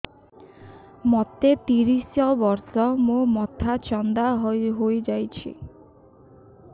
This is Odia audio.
ମୋ ତିରିଶ ବର୍ଷ ମୋ ମୋଥା ଚାନ୍ଦା ହଇଯାଇଛି